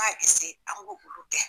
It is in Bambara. N ka an k' olu kɛ.